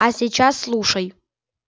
а сейчас слушай